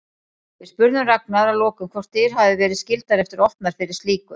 Við spurðum Ragnar að lokum hvort dyr hafi verið skyldar eftir opnar fyrir slíku?